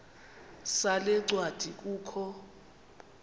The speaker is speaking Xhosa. sale ncwadi kukho